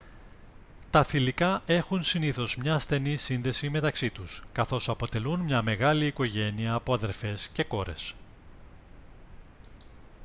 τα θηλυκά έχουν συνήθως μια στενή σύνδεση μεταξύ τους καθώς αποτελούν μια μεγάλη οικογένεια από αδερφές και κόρες